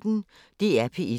DR P1